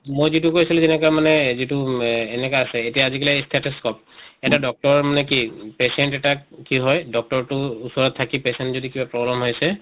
মই যিটো কৈ আছিলোঁ যেনেকা মানে যিটো মেহ এনেকে আছে এতিয়া আজি কালি stethoscope এটা doctor মানে কি patient এটাক কি হয় doctor টো ওচৰত থাকি patient যদি কিবা problem হৈছে